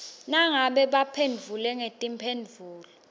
nangabe baphendvule ngetimphendvulo